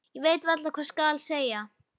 Ég veit varla hvað skal segja.